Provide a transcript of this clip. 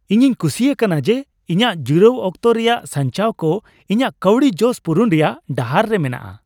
ᱤᱧᱤᱧ ᱠᱩᱥᱤ ᱟᱠᱟᱱᱟ ᱡᱮ ᱤᱧᱟᱹᱜ ᱡᱤᱨᱟᱹᱣ ᱚᱠᱛᱚ ᱨᱮᱭᱟᱜ ᱥᱟᱧᱪᱟᱣ ᱠᱚ ᱤᱧᱟᱹᱜ ᱠᱟᱹᱣᱰᱤ ᱡᱚᱥ ᱯᱩᱨᱩᱱ ᱨᱮᱭᱟᱜ ᱰᱟᱦᱟᱨ ᱨᱮ ᱢᱮᱱᱟᱜᱼᱟ ᱾